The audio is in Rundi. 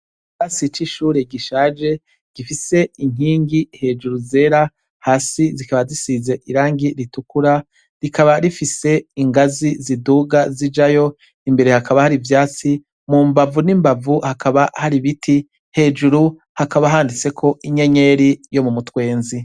Ikirasi c'ishure gishaje gifise inkingi hejuru zera hasi zikaba zisize irangi ritukura, rikaba rifise ingazi ziduga zijayo, imbere hakaba hari ivyatsi mu mbavu n'imbavu hakaba hari ibiti hejuru hakaba handitseko inyenyeri yo mu mutwenzi.